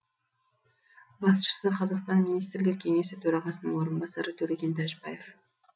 басшысы қазақстан министрлер кеңесі төрағасының орынбасары төлеген тәжібаев